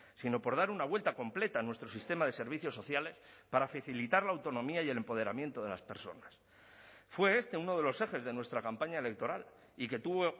sino por dar una vuelta completa a nuestro sistema de servicios sociales para facilitar la autonomía y el empoderamiento de las personas fue este uno de los ejes de nuestra campaña electoral y que tuvo